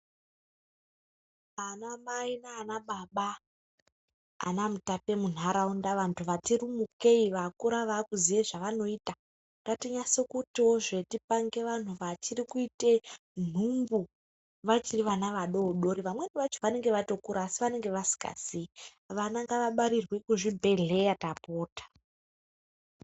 Ana mai nana baba ana mutape munharaunda vanhu vati rumukei vakura vakuziya zvevanoita ngatinyase kutiwozve tipange vanhu vachiri kuite nhumbu vachiri vana vadoodori vamweni vacho vanenge vatokura asi vanenge vasikazii. Vana ngavabarirwe kuzvibhedhleya tapota.